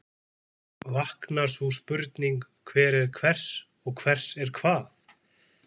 Vaknar sú spurning, hver er hvers og hvers er hvað?